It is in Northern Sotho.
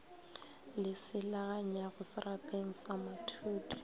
le selaganyago serapaneng sa mathudi